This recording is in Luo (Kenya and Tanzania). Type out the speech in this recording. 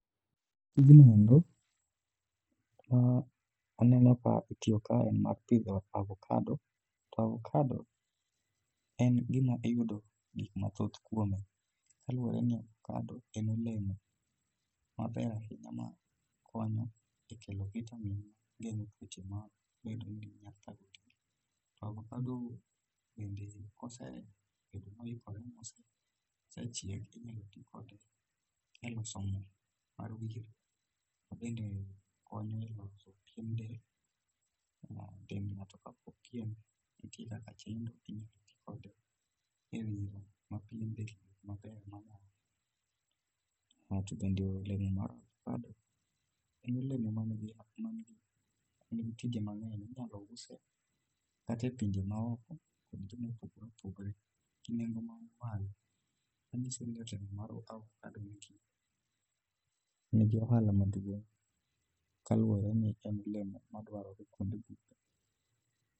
Tijni endo ma aneno ka itiyo kae en mar pidho avocado to avocado en gima iyudo gik mathoth kuome. Kaluworei ni avocado en olemo maber ahinya makonyo ekelo vitamins magengo tuoche mabedo ni nyalo thago del to avocado bende kabet ni oseikore mosechiek inyalo tii kode e lose moo mar wir ma bende konyoe loso pien del, ma dend ng'ato kapo pien nitie kaka chendo to inyal tikode ewiro ma pien del bed maber ,to bende olemo mar avocado en olemo man kod tije mangeny. inyalo use kata epinje maoko kod jomaopogore opogore gi nengo man malo manyiso ni olemo mar avocado nigi ohalo maduong kaluwore ni en olemo maduarore kuonde duto.